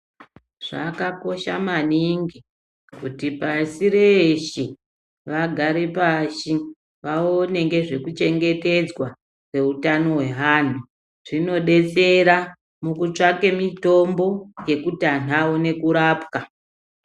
Zvakakosha mwaningi kuti pashi reshe vagare pashi vaone ngezvekuchengetedzwa kweutano hweanhu. Zvinodetsera pakutsvake mitombo yekuti anhu awane kurapwa.